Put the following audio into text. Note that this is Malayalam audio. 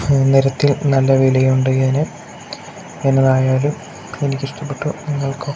നേരത്തെ നല്ല വിലയുണ്ട് ഇതിന് എന്നതായാലും എനിക്കിഷ്ടപ്പെട്ടു നിങ്ങൾക്കോ?